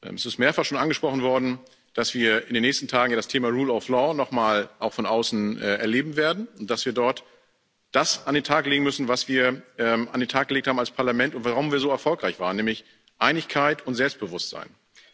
Es ist schon mehrfach angesprochen worden, dass wir in den nächsten Tagen das Thema rule of law auch noch mal von außen erleben werden, dass wir dort das an den Tag legen müssen, was wir an den Tag gelegt haben als Parlament und warum wir so erfolgreich waren, nämlich Einigkeit und Selbstbewusstsein.